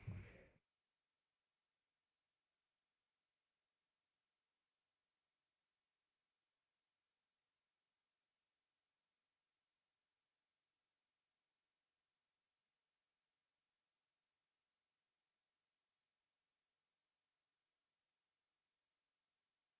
svare